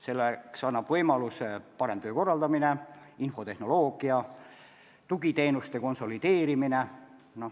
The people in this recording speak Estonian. Selleks annab võimaluse parem töö korraldamine, infotehnoloogia, tugiteenuste konsolideerimine.